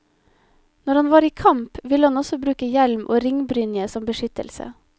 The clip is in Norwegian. Når han var i kamp, ville han også bruke hjelm og ringbrynje som beskyttelse.